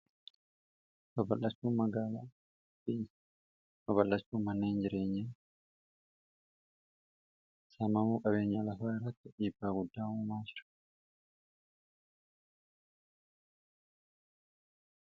Baballachuu magaalaa: baballachuu manneen jireenyaa, saamamuu qabeenyaa lafaa irratti dhiibbaa guddaa uuma.